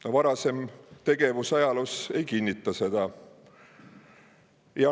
Tema varasem tegevus ajaloos ei kinnita seda.